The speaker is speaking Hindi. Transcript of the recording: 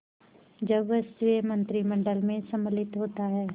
जब वह स्वयं मंत्रिमंडल में सम्मिलित होता है